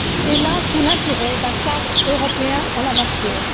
C'est là tout l'intérêt d'un cadre européen en la matière.